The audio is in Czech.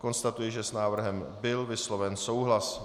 Konstatuji, že s návrhem byl vysloven souhlas.